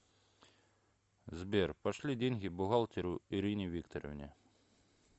сбер пошли деньги бухгалтеру ирине викторовне